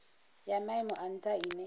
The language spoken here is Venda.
ya maimo a ntha ine